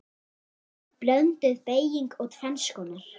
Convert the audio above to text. Blönduð beyging er tvenns konar